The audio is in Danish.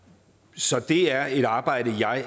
så det er et arbejde jeg